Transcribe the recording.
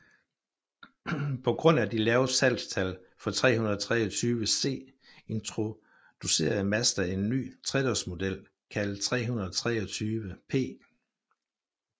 På grund af de lave salgstal for 323C introducerede Mazda en ny tredørsmodel kaldet 323P